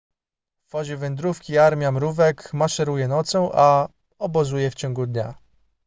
w fazie wędrówki armia mrówek maszeruje nocą a obozuje w ciągu dnia